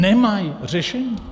Nemají řešení!